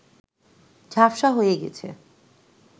ঝাপসা হয়ে গেছে